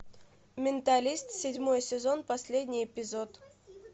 менталист седьмой сезон последний эпизод